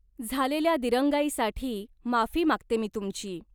झालेल्या दिरंगाईसाठी माफी मागते मी तुमची.